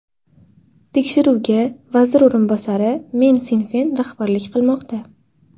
Tekshiruvga vazir o‘rinbosari Men Sinfen rahbarlik qilmoqda.